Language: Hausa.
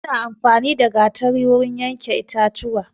Ana amfani da gatari wurin yanke itatuwa